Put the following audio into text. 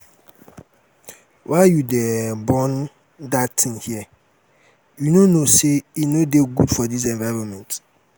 why you dey um burn dat thing here? you no know say e no dey good for dis environment